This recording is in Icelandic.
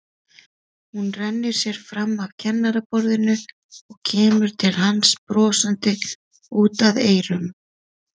Hún rennir sér fram af kennaraborðinu og kemur til hans brosandi út að eyrum.